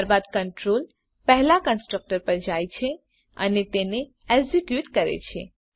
ત્યારબાદ કન્ટ્રોલ પહેલાં કન્સ્ટ્રકટર પર જાય છે અને તેને એક્ઝેક્યુટ કરે છે